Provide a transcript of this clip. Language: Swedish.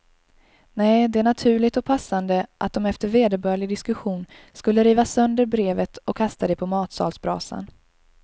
Nej, det är naturligt och passande att de efter vederbörlig diskussion skulle riva sönder brevet och kasta det på matsalsbrasan.